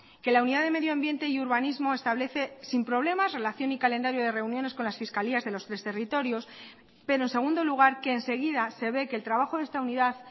que la unidad de medio ambiente y urbanismo establece sin problemas relación y calendario de reuniones con las fiscalías de los tres territorios pero en segundo lugar que enseguida se ve que el trabajo de esta unidad